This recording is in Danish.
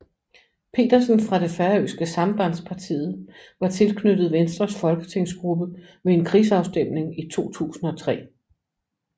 Petersen fra det færøske Sambandspartiet var tilknyttet Venstres folketingsgruppe ved en krigsafstemning i 2003